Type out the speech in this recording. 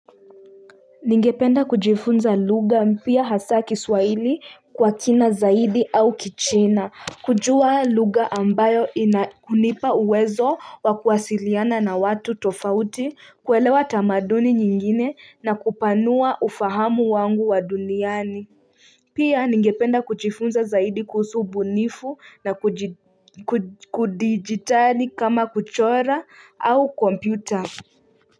Ningependa kujifunza lugha mpya hasa kiswahili kwa kina zaidi au kichina kujua lugha ambayo inakunipa uwezo wa kuwasiliana na watu tofauti kuelewa tamaduni nyingine na kupanua ufahamu wangu wa duniani Pia ningependa kujifunza zaidi kuhusu ubunifu na kidijitali kama kuchora au kompyuta.